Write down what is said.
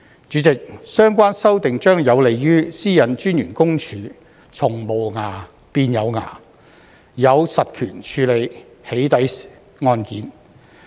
主席，相關修訂將有利於私隱公署從"無牙"變"有牙"，有實權處理"起底"案件。